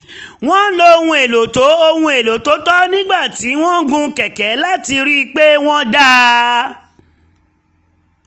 wọ́n lo ohun èlò tó ohun èlò tó tọ́ nígbà tí wọ́n ń gun kẹ̀kẹ̀ láti rí i um pé wọ́n dáa